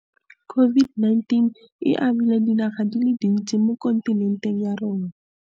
COVID-19 e amile dinaga di le dintsi mo kontinenteng ya rona.